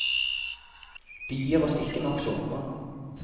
De gir oss ikke nok såpe.